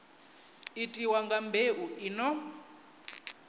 itiwa nga mbeu i no